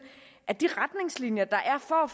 at de retningslinjer der er for at